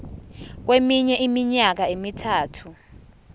kweminye iminyaka emithathu